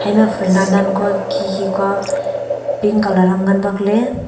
ema phul nan kua khi khi kua pink colour am ngan bak ley.